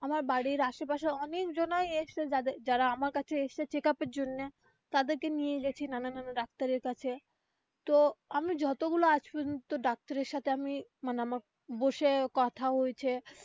আমার বাড়ির আসে পাশে অনেক জনাই এসেছে যারা আমার কাছে এসেছে check up এর জন্যে গেছি নানা নানা কাছে তো আমি যতগুলা আজ পর্যন্ত ডাক্তারের সাথে আমি মানে আমার বসে কথা হয়েছে.